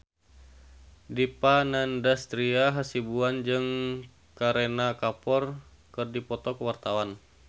Dipa Nandastyra Hasibuan jeung Kareena Kapoor keur dipoto ku wartawan